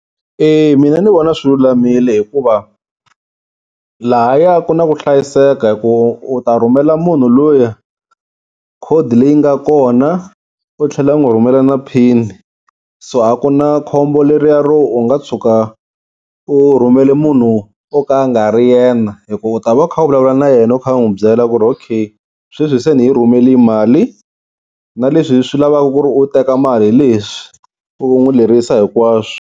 E mina ni vona swi lulamile hikuva, lahaya ku na ku hlayiseka hi ku u ta rhumela munhu luya code leyi nga kona u tlhela u n'wi rhumela na pin, so a ku na khombo leriya ro u nga tshuka u rhumela munhu wo ka nga ri yena, hikuva u ta va u kha u vulavula na yena u kha u n'wi byela ku ri okay sweswi se ni yi rhumelini mali na leswi swi lavaka ku ri u teka mali hi leswi u n'wi lerisa hinkwaswo.